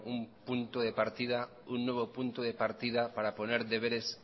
un punto de partida un nuevo punto de partida para poner deberes